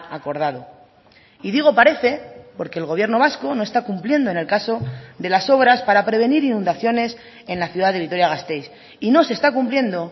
acordado y digo parece porque el gobierno vasco no está cumpliendo en el caso de las obras para prevenir inundaciones en la ciudad de vitoria gasteiz y no se está cumpliendo